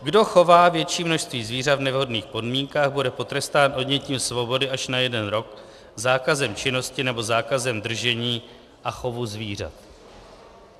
"Kdo chová větší množství zvířat v nevhodných podmínkách, bude potrestán odnětím svobody až na jeden rok, zákazem činnosti nebo zákazem držení a chovu zvířat."